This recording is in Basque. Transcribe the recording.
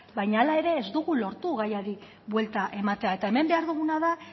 baina hala ere ez dugu lortu gaiari buelta ematea eta hemen behar duguna da